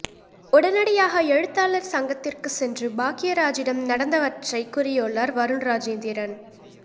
உடனடியாக எழுத்தாளர் சங்கத்திற்கு சென்று பாக்யராஜிடம் நடந்தவற்றை கூறியுள்ளார் வருண் ராஜேந்திரன்